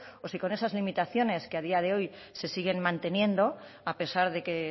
o si con esas limitaciones que a día de hoy se siguen manteniendo a pesar de que